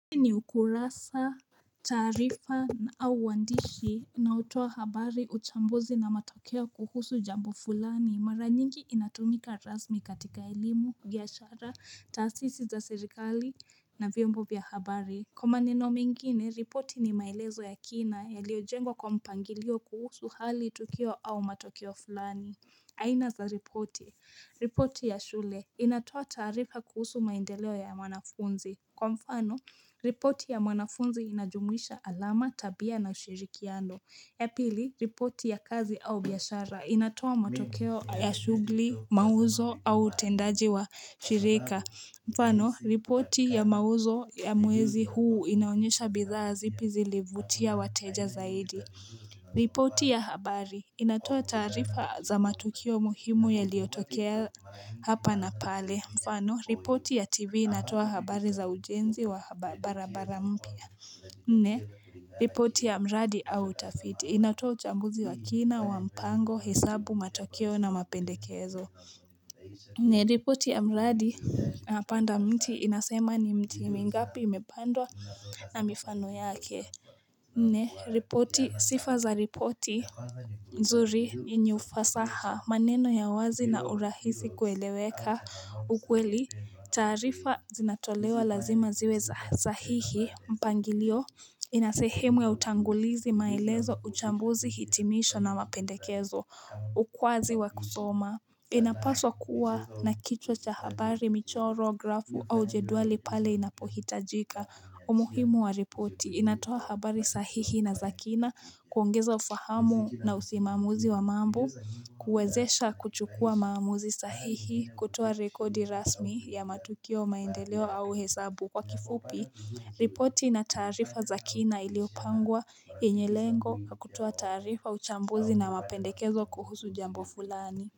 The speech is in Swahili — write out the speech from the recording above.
Ni ukurasa tarifa au wandishi na utuwa habari uchambuzi na matokeo kuhusu jambo fulani mara nyingi inatumika razmi katika ilimu, giashara, taasisi za sirikali na vyombo vya habari Kuma neno mingine, ripoti ni mailezo ya kina ya lio jengo kwa mpangilio kuhusu hali tukio au matokeo fulani. Aina za ripoti. Ripoti ya shule. Inatoa tarifa kuhusu maindeleo ya mwanafunzi. Kwa mfano, ripoti ya mwanafunzi inajumwisha alama, tabia na ushirikiano. Yapili, ripoti ya kazi au biyashara. Inatoa matokeo ya shugli, mauzo au tendaji wa shirika. Firika, mfano, ripoti ya mauzo ya mwezi huu inaonyesha bidhaa zipo zi livutia wateja zaidi. Ripoti ya habari, inatoa tarifa za matukio muhimu ya liotokea hapa na pale. Mfano, ripoti ya tv inatoa habari za ujenzi wa barabara mpya. Ne, ripoti ya mradi au utafiti, inatoa uchambuzi wa kina, wampango, hesabu, matukio na mapendekezo. Ne ripoti ya mradi na pandamiti inasema ni mti mingapi imepandwa na mifano yake Nne ripoti sifa za ripoti nzuri inyufasaha maneno ya wazi na urahisi kueleweka ukweli tarifa zinatolewa lazima ziwe za hihi mpangilio inasehemwe utangulizi mailezo uchambuzi hitimisho na mapendekezo ukwazi wa kusoma Inapaswa kuwa na kichwa habari michoro grafu au jeduali pale inapohitajika umuhimu wa ripoti inatoa habari sahihi na zakina kuongeza ufahamu na usimamuzi wa mambo Kuwezesha kuchukua mamuzi sahihi kutuwa rekodi rasmi ya matukio maendeleo au hesabu kwa kifupi ripoti na tarifa zakina iliopangwa yenye lengo kutuwa tarifa uchambuzi na mapendekezo kuhusu jambo fulani.